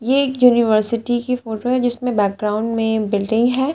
ये एक यूनिवर्सिटी की फोटो है जिसमें बैकग्राउंड में बिल्डिंग है।